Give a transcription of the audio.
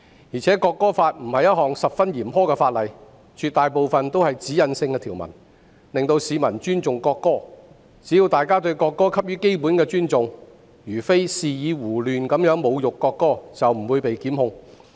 而且《條例草案》並非十分嚴苛的法例，絕大部分都是指引性條文，令市民尊重國歌，只要大家給予國歌基本的尊重，而非肆意胡亂侮辱國歌，便不會被檢控。